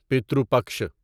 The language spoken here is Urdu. پترو پکشا